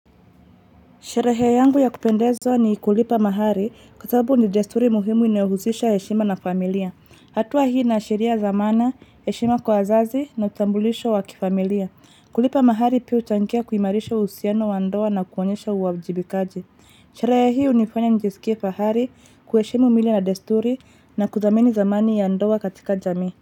Sherehe yangu ya kupendeza ni kulipa mahari kwa sababu ni desturi muhimu inayohusisha heshima na familia. Hatua hii inaashiria zamana, eshima kwa wazazi na uthambulisho wakifamilia. Kulipa mahari pia huchangia kuimarisha uusiano wa ndoa na kuonyesha uwajibikaji. Sherehe hii unifanya njisikie fahari kueshimu mila na desturi na kuthamini thamani ya ndoa katika jamii.